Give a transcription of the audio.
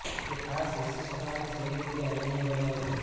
કે ખાસ વિશિષ્ટતા અને શૈલી તે અનન્ય બનાવે છે